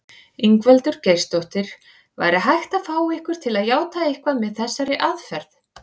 Ingveldur Geirsdóttir: Væri hægt að fá ykkur til játa eitthvað með þessari aðferð?